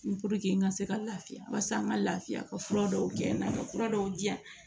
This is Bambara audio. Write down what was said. n ka se ka lafiya barisa n ka lafiya ka fura dɔw kɛ n'a ka fura dɔw diyan